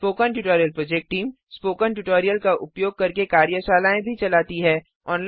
spoken tutorial project team spoken tutorial का उपयोग करके कार्यशालाएँ भी चलाती है